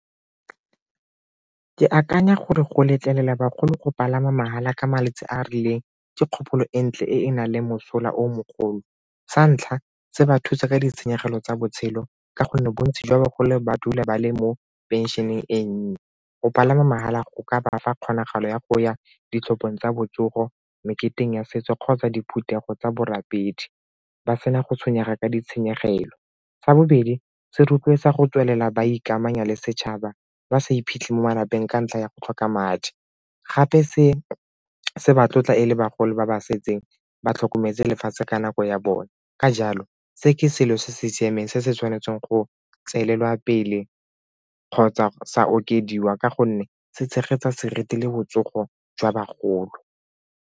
Ke akanya gore go letlelela bagolo go palama mahala ka malatsi a a rileng dikgopolo ko ntle e na le mosola o mogolo sa ntlha, se ba thuse ka ditshenyegelo tsa botshelo ka gonne bontsi jwa bagolo ba dula ba le mo penšeneng e nnye. Go palama mahala go ka ba fa kgonagalo ya go ya ditlhopheng tsa botsogo, meketeng ya setso kgotsa diphuthego tsa borapedi ba sena go tshwenyega ka ditshenyegelo. Sa bobedi, se rotloetsa go tswelela ba ikamanya le setšhaba ba sa iphitlhele mo malapeng ka ntlha ya go tlhoka madi gape se batla e le bagolo ba ba setseng ba tlhokometse lefatshe ka nako ya bone. Ka jalo, se ke selo se se siameng se se tshwanetseng go tswelela pele kgotsa sa okediwa ka gonne se tshegetsa seriti le botsogo jwa bagolo.